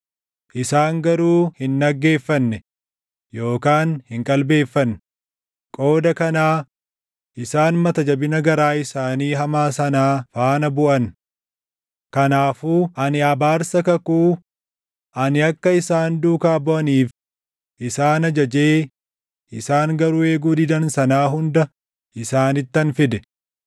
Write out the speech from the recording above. Isaan garuu hin dhaggeeffanne yookaan hin qalbeeffanne; qooda kanaa isaan mata jabina garaa isaanii hamaa sanaa faana buʼan. Kanaafuu ani abaarsa kakuu ani akka isaan duukaa buʼaniif isaan ajajee isaan garuu eeguu didan sanaa hunda isaanittan fide.’ ”